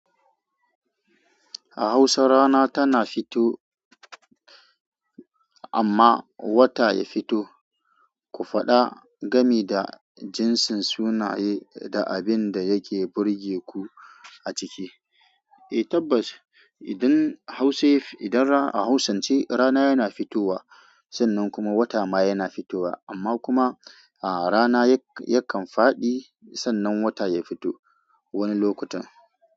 A Hausa rana tana fito amma wata ya fito. Ku faɗa game da jinsin sunaye da abin da yake burge ku a ciki. Eh tabbas, idan Hausa, idan a Hausance rana yana fitowa sannan kuma wata ma yana fitowa amma kuma a rana yakan faɗi sannan wata ya fito wani lokutan.